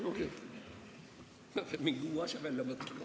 Ma pean mingi uue asja välja mõtlema.